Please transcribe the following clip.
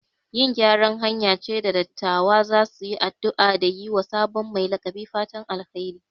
Yin gyaran hanya ce da dattawa za su yi addu'a da yi wa sabon mai laƙabi fatan alheri.